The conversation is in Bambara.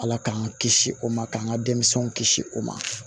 Ala k'an kisi o ma k'an ka denmisɛnw kisi o ma